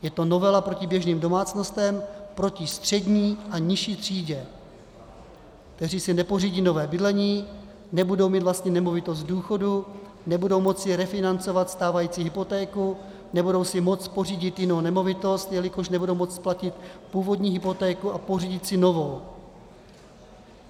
Je to novela proti běžným domácnostem, proti střední a nižší třídě, které si nepořídí nové bydlení, nebudou mít vlastní nemovitost v důchodu, nebudou moci refinancovat stávající hypotéku, nebudou si moct pořídit jinou nemovitost, jelikož nebudou moct splatit původní hypotéku a pořídit si novou.